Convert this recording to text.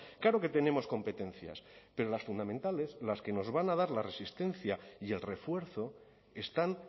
claro que tenemos competencias pero las fundamentales las que nos van a dar la resistencia y el refuerzo están